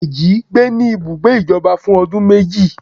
Dejí gbé ní ibùgbé ìjọba fún ọdún méjì